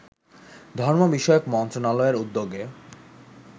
ধর্ম বিষয়ক মন্ত্রণালয়ের উদ্যোগে